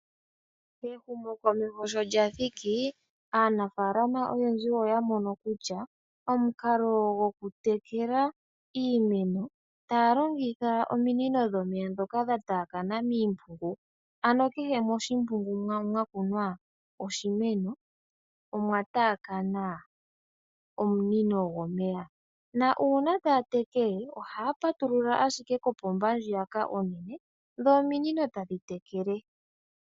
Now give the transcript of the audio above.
Ehumo komeho sho lyathiki aanafalama oyendji oya mono kutya omukalo goku tekela iimeno taya longitha ominino dhomeya dhoka dha taya kana miimpungu ano kehe moshimpungu mono mwa kunwa oshimeno omwa takana omunino gomeya. Una taya tekele oha ya patilula shike kopomba ndjiyaka onene dho ominino tadhi tekele.